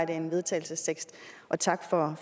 en vedtagelsestekst tak for